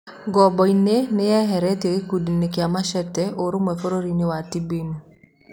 (Jua) Ngamboni nĩeheretio gĩkundiĩnĩ kĩa Masheta ũrũmwe bũrũriĩnĩ Thibĩin.